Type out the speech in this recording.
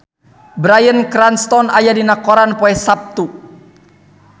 Bryan Cranston aya dina koran poe Saptu